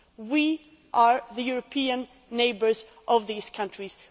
We are the European neighbours of these countries.